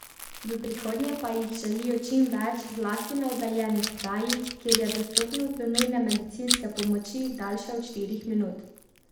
V prihodnje pa jih želijo čim več, zlasti na oddaljenih krajih, kjer je dostopnost do nujne medicinske pomoči daljša od štirih minut.